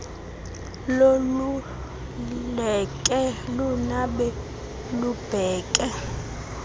loluleke lunabe lubheke